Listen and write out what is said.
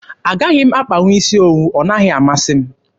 Agaghị m akpanwu isi owu. Ọ naghị amasị m.